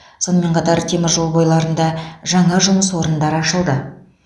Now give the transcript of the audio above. сонымен қатар темір жол бойларында жаңа жұмыс орындары ашылды